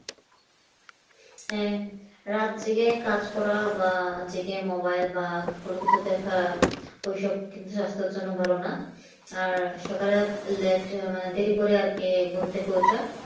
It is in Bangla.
হ্যাঁ রাত জেগে কাজ করা বা জেগে mobile বা কোনো কিছু দেখা ঐসব কিন্তু স্বাস্থ্যের জন্য ভালো না আর সকালে late মানে দেরি করে আর কি ঘুম থেকে ওঠা